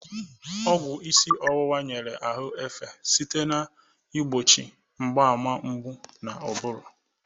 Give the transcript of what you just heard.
Ogwụ isi ọwụwa nyere ahụ efe site na igbochi mgbaàmà mgbu na ụbụrụ.